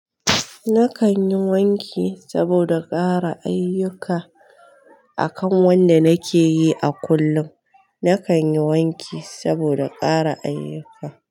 Nakan yi wanki saboda ƙara ayuka akan wanda nake yi a kullum. Nakan yi wanki saboda ƙara ayuka.